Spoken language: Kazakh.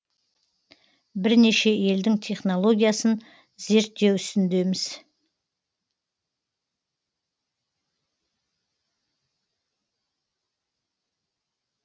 бірнеше елдің технологиясын зерттеу үстіндеміз